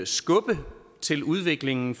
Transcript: skubbe til udviklingen